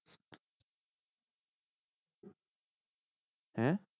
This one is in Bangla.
হ্যাঁ?